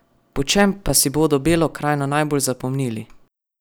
Po čem pa si bodo Belo krajino najbolj zapomnili?